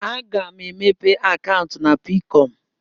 A ga m emepe akaụntụ na Peekọm.